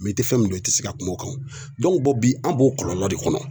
i tɛ fɛn min dɔn i tɛ se ka kuma o kan bi an b'o kɔlɔlɔ de kɔnɔ